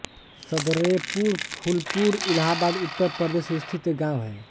सदरेपुर फूलपुर इलाहाबाद उत्तर प्रदेश स्थित एक गाँव है